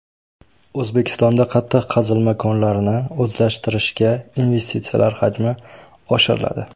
O‘zbekistonda qattiq qazilma konlarini o‘zlashtirishga investitsiyalar hajmi oshiriladi.